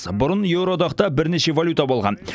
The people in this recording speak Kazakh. бұрын еуроодақта бірнеше валюта болған